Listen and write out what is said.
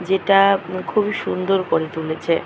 যেটা খুবই সুন্দর করে তুলেছে।